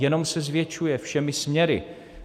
Jenom se zvětšuje všemi směry.